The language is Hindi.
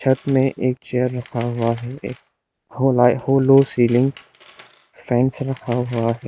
छत में एक चेयर रखा हुआ है एक होला होलो सीलिंग फैंस रखा हुआ है।